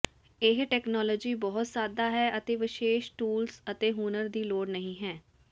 ਇਹ ਤਕਨਾਲੋਜੀ ਬਹੁਤ ਸਾਦਾ ਹੈ ਅਤੇ ਵਿਸ਼ੇਸ਼ ਟੂਲਸ ਅਤੇ ਹੁਨਰ ਦੀ ਲੋੜ ਨਹੀਂ ਹੈ